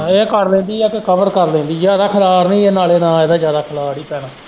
ਇਹ ਕਰ ਲੈਂਦੀ ਏ ਫੇਰ ਕਵਰ ਕਰ ਲੈਂਦੀ ਏ ਜ਼ਿਆਦਾ ਖਲਾਰ ਨੀ ਨਾਲ਼ ਇਹਦਾ ਜ਼ਿਆਦਾ ਖਲਾਰ ਨੀ ਪੈਣਾ।